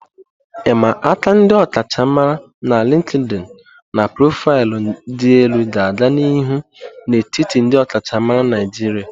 I'ma aka ndi okachamara na LinkedIn na profaịlụ dị elu ga-aga n'ihu n'etiti ndị ọkachamara Naijiria.